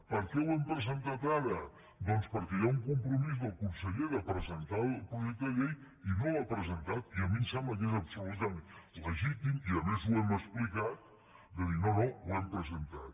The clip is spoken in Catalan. per què ho hem presentat ara doncs perquè hi ha un compromís del conseller de presentar el projec·te de llei i no l’ha presentat i a mi em sembla que és absolutament legítim i a més ho hem explicat de dir no no ho hem presentat